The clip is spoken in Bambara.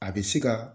A bɛ se ka